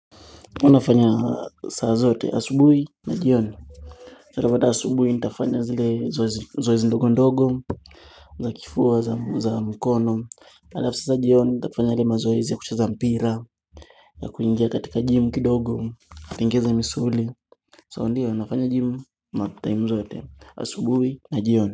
Unafanya saa zote asubuhi na jioni sababu hata asubuhi nitafanya zile zoezi ndogo ndogo za kifua za mkono alafu sasa jioni nitafanya yale mazoezi ya kucheza mpira ya kuingia katika jimu kidogo natengeza misuli So ndiyo nafanya jimu ma time zote Asubuhi na jioni.